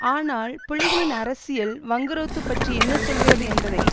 ஆனால் புலிகளின் அரசியல் வங்குரோத்து பற்றி என்ன சொல்கிறது என்பதை